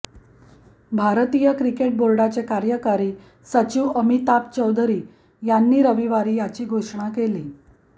भारतीय क्रिकेट बोर्डाचे कार्यकारी सचिव अमिताभ चौधरी यांनी रविवारी याची घोषणा केली